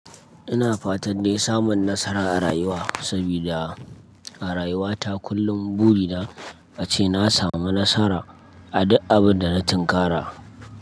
Ina fatan dai samun nasara a rayuwa sabida a rayuwa ta kullum buri na ace na samu nasara a duk abin da na tinkara.